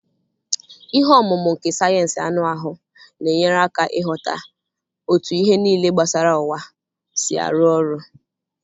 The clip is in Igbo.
Ihe omumu nke sayensị anụ ahụ na-enyere aka ịghọta otú ihe niile gbasara ụwa si arụ ọrụ.